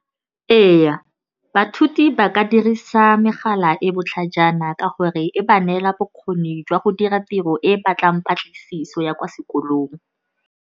Ee, ba ka dirisa megala e botlhajana ka gore e ba neela bokgoni jwa go dira tiro e batlang patlisiso ya kwa sekolong.